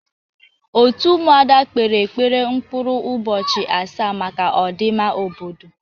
Òtù Ụmụada kpere ekpere mkpụrụ ụbọchị asaa maka ọdịmma obodo.